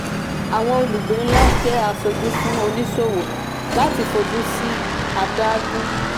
àwọn olùgbé ńlá je asoju fún oníṣòwò láti fojú sí àdágún.